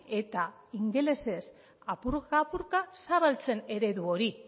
eta ingelesez apurka apurka zabaltzen eredu hori